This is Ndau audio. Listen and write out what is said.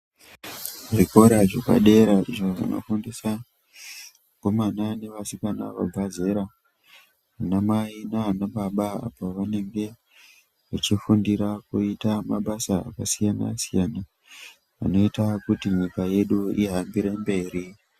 Zvikora zvepadera zvinofundiswa vakomana nevasikana vabva zera, ana mai nana baba, pavanenge vechifundira kuita mabasa akasiyana-siyana anoita kuti nyika yedu ihambire mberi.